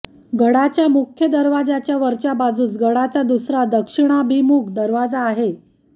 गडाच्या मुख्य दरवाजाच्या वरच्या बाजूस गडाचा दुसरा दक्षिणाभिमुख दरवाजा आहे